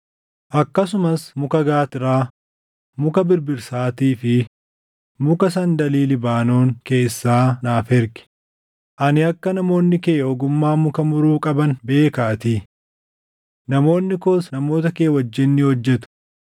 “Akkasumas muka gaattiraa, muka birbirsaatii fi muka sandalii Libaanoon keessaa naaf ergi; ani akka namoonni kee ogummaa muka muruu qaban beekaatii. Namoonni koos namoota kee wajjin ni hojjetu;